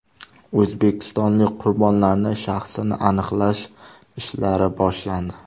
O‘zbekistonlik qurbonlarning shaxsini aniqlash ishlari boshlandi.